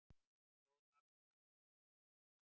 Stóð allt af sér